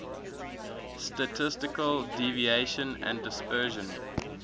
statistical deviation and dispersion